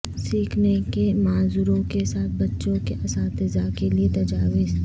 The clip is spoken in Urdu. سیکھنے کے معذوروں کے ساتھ بچوں کے اساتذہ کے لئے تجاویز